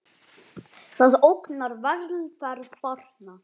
Það ógnar velferð barna.